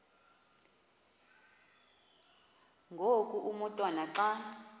ngoku umotwana xa